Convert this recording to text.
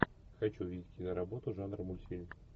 хочу увидеть киноработу жанра мультфильм